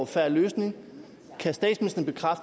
fair løsning